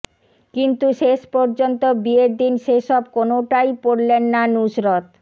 কিন্তু শেষ পর্যন্ত বিয়ের দিন সেসব কোনওটাই পরলেন না নুসরত